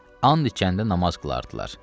And içəndə namaz qılardılar.